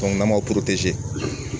n'an m'a